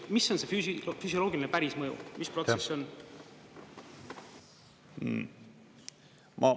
Mis on see füsioloogiline, päris mõju, mis protsess see on?